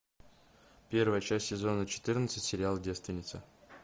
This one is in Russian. первая часть сезона четырнадцать сериал девственница